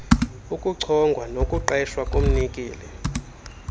ukuchongwa nokuqeshwa komnikeli